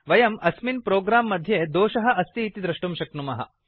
वयम् अस्मिन् प्रोग्राम् मध्ये दोषः अस्ति इति दृष्टुं शक्नुमः